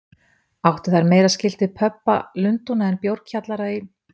Áttu þær meira skylt við pöbba Lundúna en bjórkjallara í